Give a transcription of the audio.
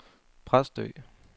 Præstø